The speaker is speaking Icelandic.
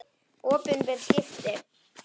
Opinber skipti